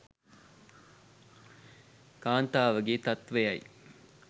කාන්තාවගේ තත්ත්වයයි.